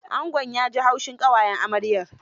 Angon ya ji haushin ƙawayen amaryar.